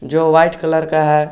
जो white colour का है।